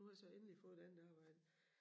Nu har jeg så endelig fået et andet arbejde